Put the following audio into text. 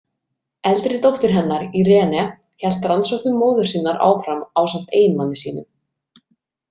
Eldri dóttir hennar, Iréne hélt rannsóknum móður sinnar áfram ásamt eiginmanni sínum.